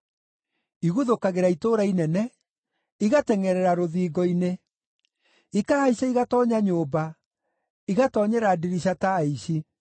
Iguthũkagĩra itũũra inene, igatengʼerera rũthingo-inĩ. Ikahaica, igatoonya nyũmba, igatoonyera ndirica ta aici.